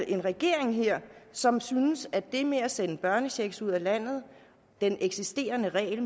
en regering her som synes at det med at sende børnechecks ud af landet og den eksisterende regel